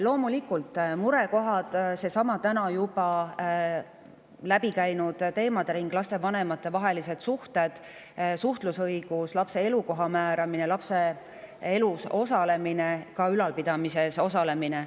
Loomulikult seesama täna juba läbi käinud teemade ring, seega on murekohad loomulikult: lastevanemate vahelised suhted, suhtlusõigus, lapse elukoha määramine ning lapse elus ja ka tema ülalpidamises osalemine.